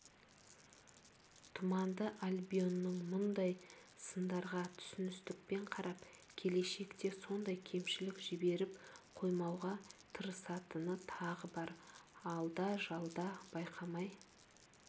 тұманды альбионның мұндай сындарға түсіністікпен қарап келешекте сондай кемшілік жіберіп қоймауға тырысатыны тағы бар алда-жалда байқамай